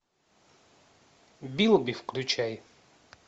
билби включай